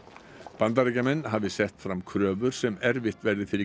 Bandaríkjamenn hafi sett fram kröfur sem erfitt verði fyrir